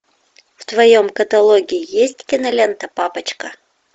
в твоем каталоге есть кинолента папочка